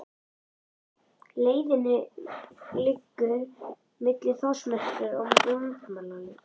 Leiðin liggur milli Þórsmerkur og Landmannalauga.